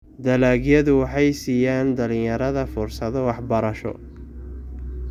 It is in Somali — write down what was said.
Dalagyadu waxay siiyaan dhalinyarada fursado waxbarasho.